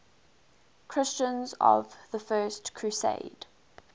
christians of the first crusade